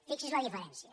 fixi’s en la diferència